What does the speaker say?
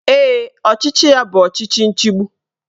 Ee, ọchịchị ya bụ ọchịchị nchigbu